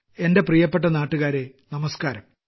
എന്റെ പ്രിയപ്പെട്ട നാട്ടുകാരേ നമസ്ക്കാരം